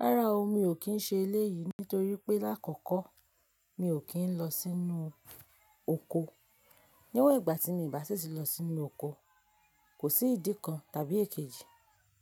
Rárá o, mi ò kí ń ṣe eléyìí nítorí pé lákọ̀kọ́ mi ò kí ń lọ sínú oko. Níwọ̀n ìgbà tí mi bá sì sí lọ sínú oko, kò sí ìdí kan tàbí èkejì